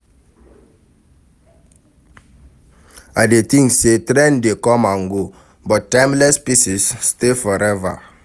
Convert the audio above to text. I dey think say trend dey come and go, but timeless pieces dey stay forever.